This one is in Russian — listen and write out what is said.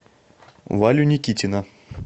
валю никитина